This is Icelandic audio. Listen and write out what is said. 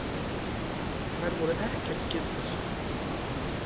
Þær voru ekkert skyldar.